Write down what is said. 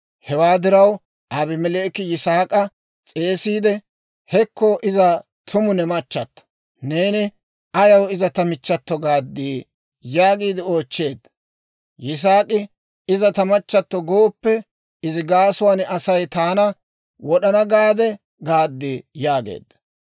Hewaa diraw Abimeleeki Yisaak'a s'eesiide, «Hekko iza tumu ne machchato! Neeni ayaw, ‹Iza ta michchato› gaaddii?» yaagiide oochcheedda. Yisaak'i, « ‹Iza ta machchatto gooppe›, izi gaasuwaan Asay taana wod'ana gaade gaad» yaageedda.